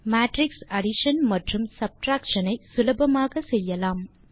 matrix addition மற்றும் subtraction ஐ சுலபமாக செய்யலாம்